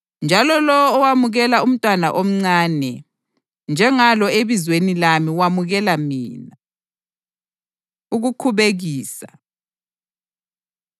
Njalo lowo owamukela umntwana omncane njengalo ebizweni lami wamukela mina.” Ukukhubekisa